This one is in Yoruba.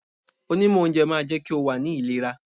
Onímọ̀ oúnjẹ máa jẹ́ kí o wà ní ìlera.